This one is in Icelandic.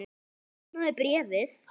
Opnaðu bréfið!